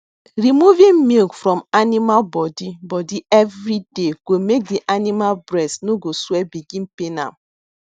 removing milk from animal body body everyday go make the animal breast no go swell begin pain am